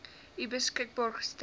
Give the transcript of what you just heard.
u beskikbaar gestel